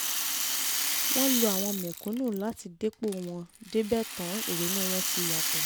wọ́n lo àwọn mẹ̀kúnnù láti dépò wọn débẹ̀ tán ìrònú wọn ti yàtọ̀